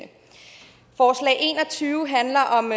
og tyve handler om